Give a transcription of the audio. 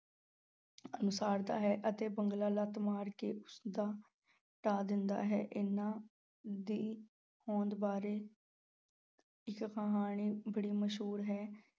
ਉਸਾਰਦਾ ਹੈ ਅਤੇ ਬਿਗਲਾ ਲੱਤ ਮਾਰ ਕੇ ਉਸਦਾ ਢਾਹ ਦਿੰਦਾ ਹੈ, ਇਹਨਾਂ ਦੀ ਹੋਂਦ ਬਾਰੇ ਇੱਕ ਕਹਾਣੀ ਬੜੀ ਮਸ਼ਹੂਰ ਹੈ।